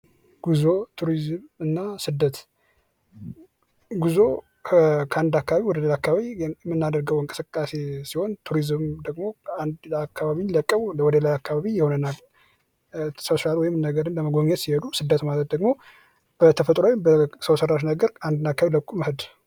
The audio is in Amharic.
ጉዞ ቱሪዝም እና ስደት ጉዞ ከአንድ አካባቢ ወደ ከላ አካባቢ የምናደርገው እንቅስቃሴ ሲሆን ቱሪዝም ደግሞ አንድ አካባቢን ለቀው ወደ ሌላ አካባቢ የሆነ ሶሻልን ነገር ለመጎብኘት ሲሄዱ ስደት ማለት ደግሞ በተፈጥሯዊ በሰው ሰራሽ ነገር አንድን አካባቢ ለቆ መሄድ::